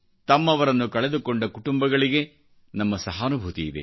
ತಮ್ಮವರನ್ನುಕಳೆದುಕೊಂಡ ಕುಟುಂಬಗಳಿಗೆ ನಮ್ಮ ಸಹಾನುಭೂತಿಯಿದೆ